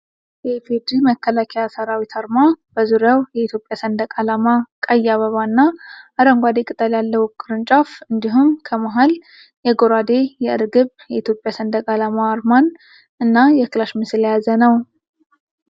የኢፌዲሪ መከላከያ ሰራዊት አርማ በዙሪያው የኢትዮጵያ ሰንደቅአላማ ፣ ቀይ አበባ እና አረንጓዴ ቅጠል ያለው ቅርንጫፍ እንዲሁም ከመሀል የጎራዴ፣ የእርግብ፣ የኢትዮጵያ ሰንደቅዓላማ አርማን እና የክላሽ ምስል የያዘ ነው።